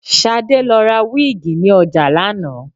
Ṣadé lọ ra wíìgì ní ọjà lánàá